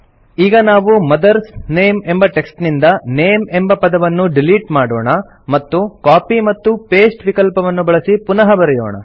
ಈಗ ನಾವು mother's name ಎಂಬ ಟೆಕ್ಸ್ಟ್ ನಿಂದ ನೇಮ್ ಎಂಬ ಪದವನ್ನು ಡಿಲಿಟ್ ಮಾಡೋಣ ಮತ್ತು ಕಾಪಿ ಮತ್ತು ಪಾಸ್ಟೆ ವಿಕಲ್ಪವನ್ನು ಬಳಸಿ ಪುನಃ ಬರೆಯೋಣ